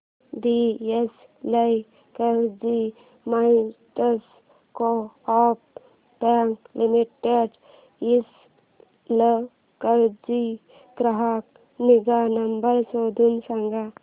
दि Ichalkaranji merchants co-op bank limited Ichalkaranji चा ग्राहक निगा नंबर शोधून सांग